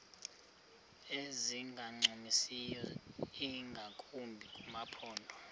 ezingancumisiyo ingakumbi kumaphondo